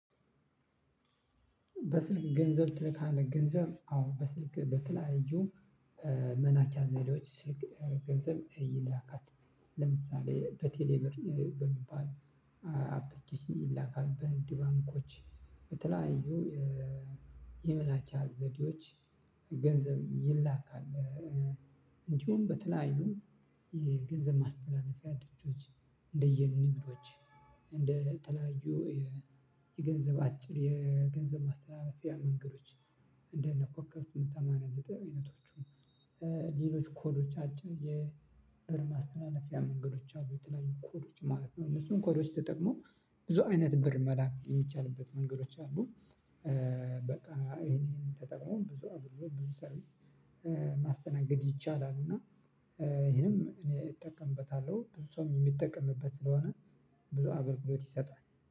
በስልክ ገንዘብ ትልካለህ ገንዘብ አዎ በስልክ በተለያዩ መላኪያ ዘዴዎች ገንዘብ ይላካል ለምሳሌ በቴሌብር በሚባል አፕልኬሽ ይላካል በንግድ ባንኮች በተለያዩ የመላኪያ ዘዴዎች ገንዘብ ይላካል። እንዲሁም በተለያዩ የገንዘብ ማስተላለፊያ ድርጅቶች እንደየ ንግዶች እንደ ተለያዩ የገንዘብ አጭር የገንዘብ ማስተላለፊያ መንገዶች እንደ እነ ኮከብ ስምንት ሰማንያ ዘጠኝ አይነቶቹ። ሌሎች ኮዶች አጭር የብር ማስተላለፊያ መንገዶች አሉ የተለያዩ ኮዶች ማለት ነው። እነሱን ኮዶች ተጠቅሞ ብዙ አይነት ብር መላክ የሚቻልበት መንገዶች አሉ። በቃ ይሄንን ተጠቅሞ ብዙ አገልግሎት ብዙ ሰርቪስ ማስተናገድ ይቻላል። እና ይሄንም እኔ እጠቀምበታለሁ ብዙ ሰውም የሚጠቀምበት ስለሆነ ብዙ አገልግሎት ይሰጣል